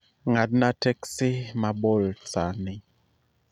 ng'adna teksi ma bolt saa ni